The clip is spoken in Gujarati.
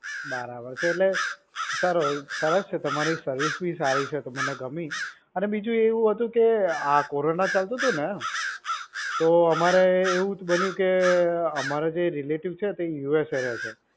બરાબર છે એટલે, સરસ છે તમારી service બી સારી છે, તે મને ગમી. અને બીજુ એવુ હતુ કે આ corona ચાલતુ ને, તો અમારે એવું બન્યું કે અમારા જે relative છે USA રહે છે.